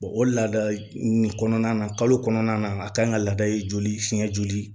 o laada nin kɔnɔna na kalo kɔnɔna na a kan ka laada ye joli fiyɛ joli